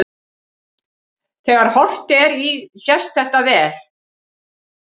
Þegar horft er í sést þetta vel.